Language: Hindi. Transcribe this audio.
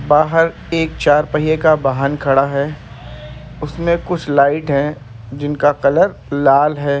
बाहर एक चार पहिये का वाहन खड़ा है उसमें कुछ लाइट हैं जिनका कलर लाल है।